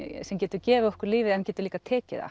sem getur gefið okkur lífið en getur líka tekið það